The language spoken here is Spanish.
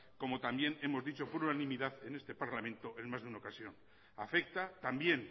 como también hemos dicho por unanimidad en este parlamento en más de una ocasión afecta también